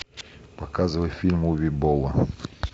показывай фильм уве болла